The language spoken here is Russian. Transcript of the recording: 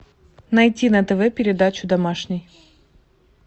найти на тв передачу домашний